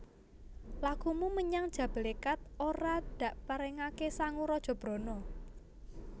Lakumu menyang Jabalékat ora dakparengaké sangu raja brana